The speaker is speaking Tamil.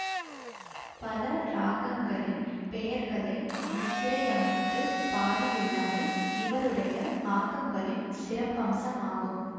பல இராகங்களின் பெயர்களை முத்திரையமைத்துப் பாடியுள்ளமை இவருடைய ஆக்கங்களின் சிறப்பம்சமாகும்